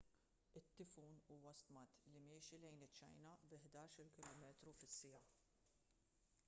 it-tifun huwa stmat li miexi lejn iċ-ċina bi ħdax-il kph